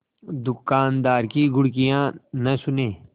दुकानदार की घुड़कियाँ न सुने